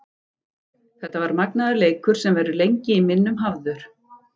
Þetta var magnaður leikur sem verður lengi í minnum hafður.